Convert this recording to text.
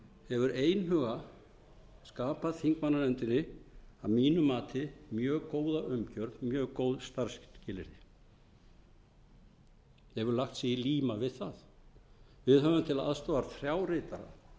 hefur einhuga skapað þingmannanefndinni að mínu mati mjög góða umgjörð mjög góð starfsskilyrði hefur lagt sig í líma við það við höfum til aðstoðar þrjá ritara